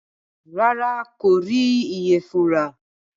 Rárá, n kò rí ìyẹ̀fun rà